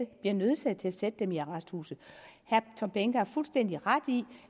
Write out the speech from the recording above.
bliver nødsaget til at sætte dem i arresthuse herre tom behnke har fuldstændig ret i